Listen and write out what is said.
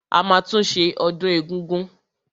A máa tún ṣe ọdún egúngún.